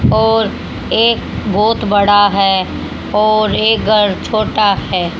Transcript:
और एक बहोत बड़ा है और ये घर छोटा है।